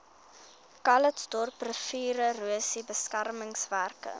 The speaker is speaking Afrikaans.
calitzdorp riviererosie beskermingswerke